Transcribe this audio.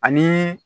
Ani